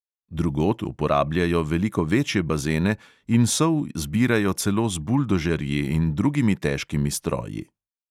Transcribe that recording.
Drugod uporabljajo veliko večje bazene in sol zbirajo celo z buldožerji in drugimi težkimi stroji.